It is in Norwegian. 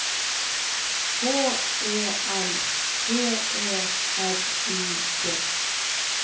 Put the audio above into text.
H E L G E R U D